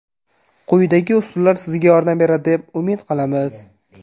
Quyidagi usullar sizga yordam beradi deb umid qilamiz.